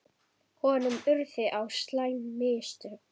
Honum urðu á slæm mistök.